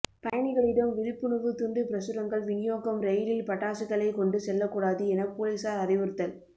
பயணிகளிடம் விழிப்புணர்வு துண்டு பிரசுரங்கள் வினியோகம் ரெயிலில் பட்டாசுகளை கொண்டு செல்லக்கூடாது என போலீசார் அறிவுறுத்தல்